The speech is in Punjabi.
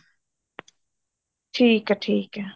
ਠੀਕ ਹੈ ਠੀਕ ਹੈ